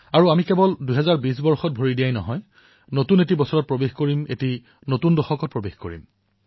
ইয়াৰ পিছত ২০২০ত আমি কেৱল প্ৰৱেশ কৰাই নহয় নতুন বছৰতো প্ৰৱেশ কৰিম আৰু নতুন দশকতো প্ৰৱেশ কৰিম